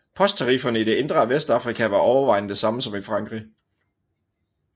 Posttarifferne i det indre af Vestafrika var overvejende de samme som i Frankrig